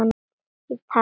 Ég talaði af mér.